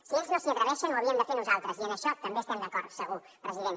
si ells no s’hi atreveixen ho havíem de fer nosaltres i en això també estem d’acord segur president